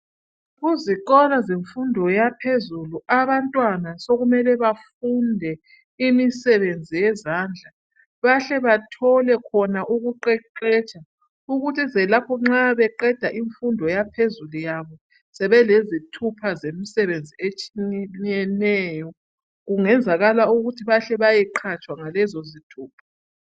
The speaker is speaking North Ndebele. ezikolo zemfundo yaphezulu abantwana sokumele bafunde imisebenzi yezandla bahle bathole khona ukuqeqetsha ukwenzela ukuthinxa beqeda imfundoyabo yaphezulu sebelezithupha zemisebenzi etshiyeneyo kungenzakala ukuba bahle beyeqhatshwa ngalezo zithupha